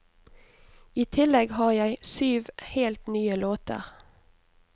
I tillegg har jeg syv helt nye låter.